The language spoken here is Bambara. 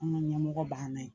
An ka ɲɛmɔgɔ ban na yen